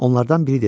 Onlardan biri dedi: